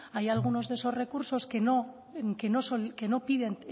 hay algunos de esos recursos que no piden